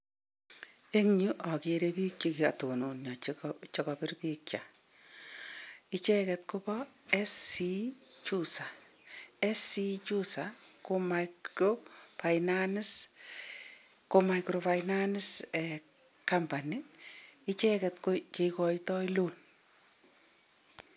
Eng yu ogere biik che kotononyo che kopir picha. Icheget koboo SC Juza. SC Juza, ko micro-finance company, icheget ko cheikoitoi loan.